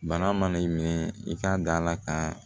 Bana mana i mɛn i ka dala ka